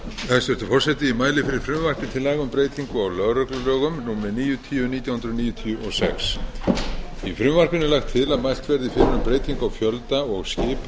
mæli fyrir frumvarpi til laga um breytingu á lögreglulögum númer níutíu nítján hundruð níutíu og níu í frumvarpinu er lagt til að mælt verði fyrir um breytingu á fjölda og skipan